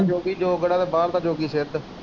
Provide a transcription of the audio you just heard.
ਜੋਗੀ ਜੋਗੜਾ ਤੇ ਬਾਹਰ ਦਾ ਜੋਗੀ ਸਿੱਧ।